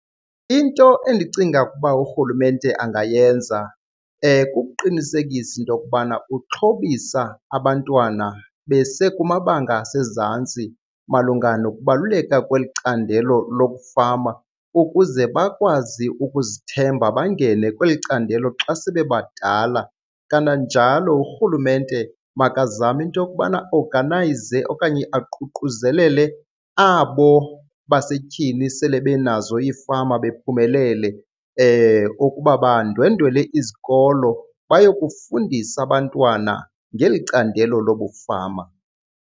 Into endicinga ukuba urhulumente angayenza kukuqinisekisa into yokubana uxhobisa abantwana besekumabanga asezantsi malunga nokubaluleka kweli candelo lokufama ukuze bakwazi ukuzithemba bangene kweli candelo xa sebebadala. Kananjalo urhulumente makazame into yokubana aoganayize okanye aququzelele abo basetyhini sele benazo iifama bephumelele ukuba bandwendwele izikolo bayokufundisa abantwana ngeli candelo lobufama.